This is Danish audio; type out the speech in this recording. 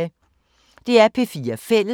DR P4 Fælles